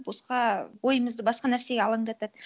босқа ойымызды басқа нәрсеге алаңдатады